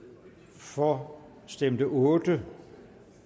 for stemte otte